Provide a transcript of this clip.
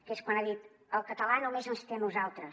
que és quan ha dit el català només ens té a nosaltres